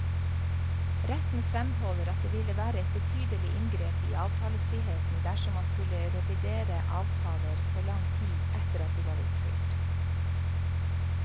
Retten fremholder at det ville være et betydelig inngrep i avtalefriheten dersom man skulle revidere avtaler så lang tid etter at de var oppfylt.